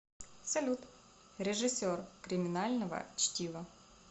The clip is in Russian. салют режиссер криминального чтива